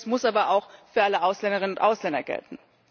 Selbiges muss aber auch für alle Ausländerinnen und Ausländer gelten.